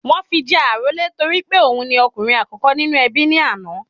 Wọ́n fi jẹ àrólé torí pé òun ni okùnrin àkókò nínú ẹbí ní àná